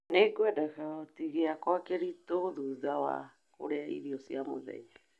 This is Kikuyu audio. Nĩ ngwenda kogoti giakwa kiritũ thutha wa kũrĩa irio cia mũthenya.